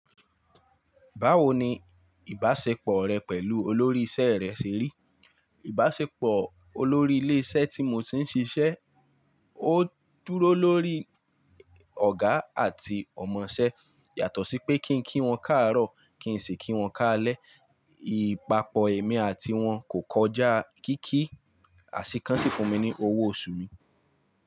Báwo ni ìbáṣepọ̀ rẹ pẹ̀lú olórí isẹ́ rẹ ṣe rí? Ìbáṣepọ̀ olórí ilé iṣẹ́ tí mo ti ń ṣiṣẹ́, ó dúró lórí ọ̀gá àti ọmọṣẹ́. Yàtọ̀ sí pé kí n kí wọn káàárọ̀, kí n sì kí wọn káalẹ́, ìpapọ̀ èmi àti wọn kò kọjá kíki. Ah Àsíkán sì fún mi ní owó oṣù mi.